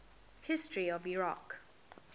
history of iraq